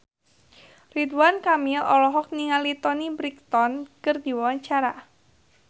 Ridwan Kamil olohok ningali Toni Brexton keur diwawancara